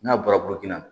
N'a bɔra burukina